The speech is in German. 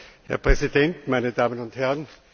Herr Präsident, meine Damen und Herren!